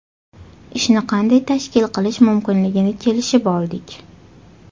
Ishni qanday tashkil qilish mumkinligini kelishib oldik.